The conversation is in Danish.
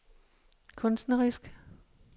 kunstnerisk